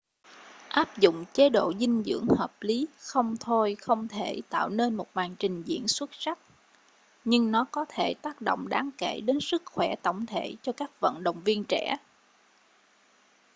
áp dụng chế độ dinh dưỡng hợp lý không thôi không thể tạo nên một màn trình diễn xuất sắc nhưng nó có thể tác động đáng kể đến sức khỏe tổng thể cho các vận động viên trẻ